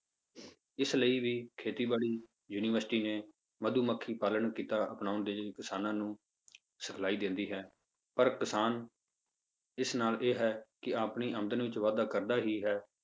ਇਸ ਲਈ ਵੀ ਖੇਤੀਬਾੜੀ university ਨੇ ਮਧੂਮੱਖੀ ਪਾਲਣ ਕਿੱਤਾ ਅਪਨਾਉਣ ਦੇ ਲਈ ਕਿਸਾਨਾਂ ਨੂੰ ਸਿਖਲਾਈ ਦਿੰਦੀ ਹੈ ਪਰ ਕਿਸਾਨ ਇਸ ਨਾਲ ਇਹ ਹੈ ਕਿ ਆਪਣੀ ਆਮਦਨ ਵਿੱਚ ਵਾਧਾ ਕਰਦਾ ਹੀ ਹੈ,